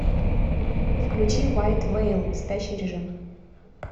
включи вайт вэйл спящий режим